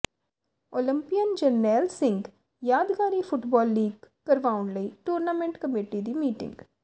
Olympian Jarnail Singh ਯਾਦਗਾਰੀ football league ਕਰਵਾਉਣ ਲਈ ਟੂਰਨਾਮੈਂਟ ਕਮੇਟੀ ਦੀ ਮੀਟਿੰਗ